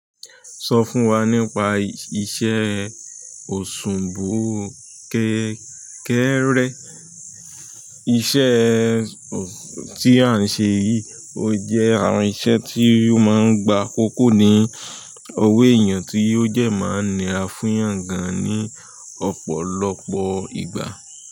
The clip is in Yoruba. Sọ fún wa nípa iṣẹ́ òṣùwọ̀n kékẹ́rẹ́. Iṣẹ́ tí a ń ṣe yìí ò jẹ́ àwọn iṣẹ́ tí ó máa ń gba akókó ní owó èèyàn tí ó dẹ máa ń nira fún ìyàn gan-an ní ọ̀pọ̀lọpọ̀ ìgbà.